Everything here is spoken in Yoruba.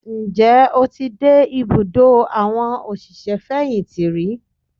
Ǹjẹ́ o ti dé ìbùdó àwọn òṣìṣẹ́ fẹ̀yìntì rí?